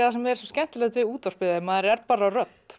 það sem er svo skemmtilegt við útvarpið maður er bara rödd